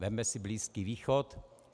Vezměme si Blízký východ.